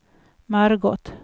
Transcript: Margot